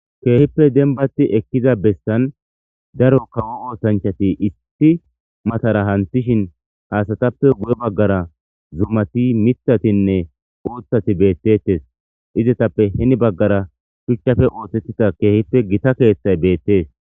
keehippe denbati ekkiza bessan daro kawo ootanchati isti matara hanthishin haasatappe gu7e baggara zumati mithatinne oothati beettettes izetappe heni baggara shuchchafe ooththettida keehippe gita keeththay beettees